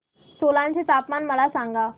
सोलन चे तापमान मला सांगा